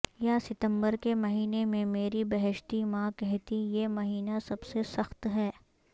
یا ستمبر کے مہینے میں میری بہشتی ماں کہتیں یہ مہینہ سب سے سخت ہے